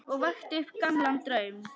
Og vakti upp gamlan draum.